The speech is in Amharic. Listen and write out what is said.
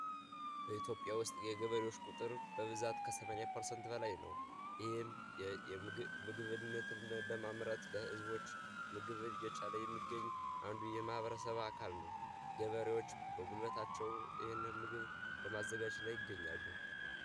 በኢትዮጵያ ውስጥ የግብር በ ላይ ነው የምግብ ምግብ ለማምረት ለህዝቦች ምግብ የቻለ የሚገኝ አንዱ የማህበረሰብ አካል ነው ገበሬዎች በጉበታቸው ምግብ ለማዘጋጅ ላይ ይገኛሉ